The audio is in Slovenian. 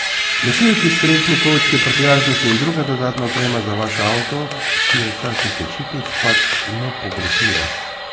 Nosilci, strešni kovčki, prtljažniki in druga dodatna oprema za vaš avto, ki je v času počitnic pač nepogrešljiva.